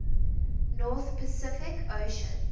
north pacific ocean